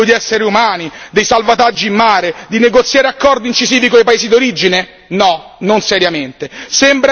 Si fa carico unitariamente della lotta al traffico degli esseri umani, dei salvataggi in mare, di negoziare accordi incisivi con i paesi d'origine?